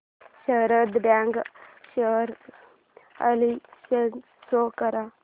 Sharda bank share analysis show कर